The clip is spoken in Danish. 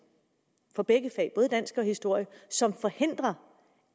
for begge fag både dansk og historie som forhindrer